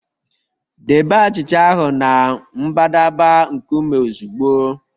Debe achịcha ahụ na mbadamba nkume ozugbo